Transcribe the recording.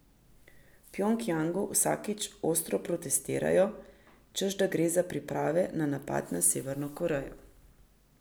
V Pjongjangu vsakič ostro protestirajo, češ da gre za priprave na napad na Severno Korejo.